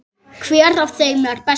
Hver af þeim er bestur?